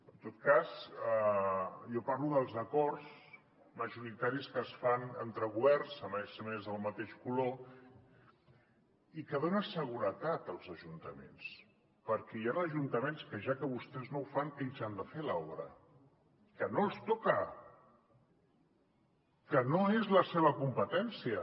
en tot cas jo parlo dels acords majoritaris que es fan entre governs a més del mateix color i que donen seguretat als ajuntaments perquè hi han ajuntaments que ja que vostès no ho fan ells han de fer l’obra que no els toca que no és la seva competència